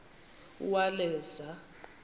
uwaleza